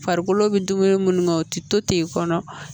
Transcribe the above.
Farikolo bɛ dumuni minnu kɛ o tɛ to ten kɔnɔ